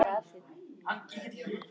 Annars verður dregið frá kaupinu þínu.